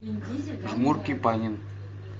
жмурки панин